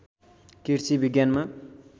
कृषि विज्ञानमा